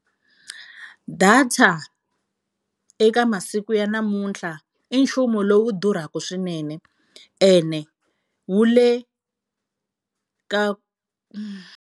Data eka masiku ya namuntlha i nchumu lowu durhaka swinene ene wu le ka.